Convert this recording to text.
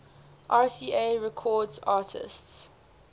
rca records artists